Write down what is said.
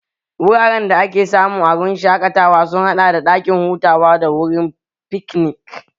Wuraren da ake samu a wurin shaƙatawa sun haɗa da ɗakin hutawa da wurin fiknik